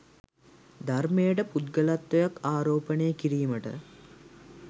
ධර්මයට පුද්ගලත්වයක් ආරෝපණය කිරීමට